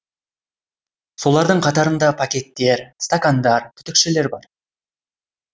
солардың қатарында пакеттер стакандар түтікшелер бар